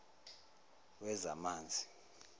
wezamanzi